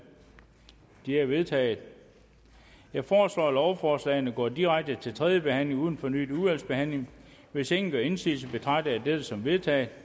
de er vedtaget jeg foreslår at lovforslagene går direkte til tredje behandling uden fornyet udvalgsbehandling hvis ingen gør indsigelse betragter jeg dette som vedtaget